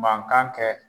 Mankan kɛ